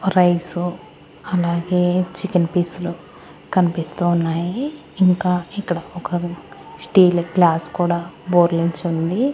Rice అలాగే chicken పీసులు కనిపిస్తూ ఉన్నాయి ఇంకా ఇక్కడ ఒక స్టీల్ గ్లాస్ కూడా బోర్లించి ఉంది.